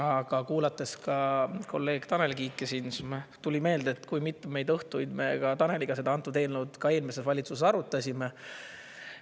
Aga kuulates kolleeg Tanel Kiike siin, siis tuli meelde, kui mitmeid õhtuid me Taneliga seda antud eelnõud ka eelmises valitsuses arutasime.